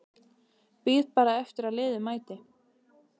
Bíð bara eftir að liðið mæti.